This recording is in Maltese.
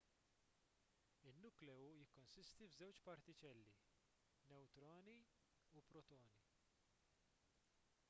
in-nukleu jikkonsisti f'żewġ partiċelli newtroni u protoni